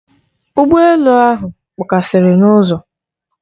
Ụgbọ elu ahụ kpọkasịrị n'ụzọ.